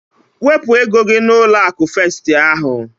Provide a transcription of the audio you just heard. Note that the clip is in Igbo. Wepụ ego gị n'ụlọ akụ festi ahu!